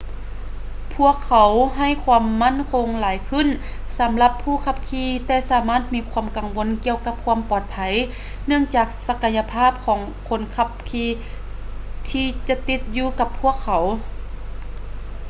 ພວກເຂົາໃຫ້ຄວາມໝັ້ນຄົງຫຼາຍຂື້ນສຳລັບຜູ້ຂັບຂີ່ແຕ່ສາມາດມີຄວາມກັງວົນກ່ຽວກັບຄວາມປອດໄພເນື່ອງຈາກສັກກະຍະພາບຂອງຄົນຂັບຂີ່ທີ່ຈະຕິດຢູ່ກັບພວກເຂົາ